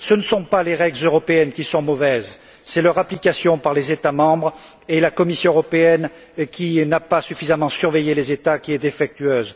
Ce ne sont pas les règles européennes qui sont mauvaises, c'est leur application par les États membres et la Commission européenne, qui n'a pas suffisamment surveillé les États, qui est défectueuse.